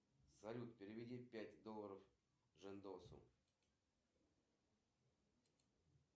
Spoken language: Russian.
джой здравствуйте я хочу как можно быстрее получить мои деньги вчера человек перевел мне их